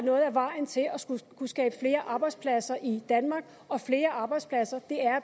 vejen til at kunne skabe flere arbejdspladser i danmark og flere arbejdspladser er